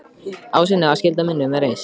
Á að sinna skyldu mínum með reisn.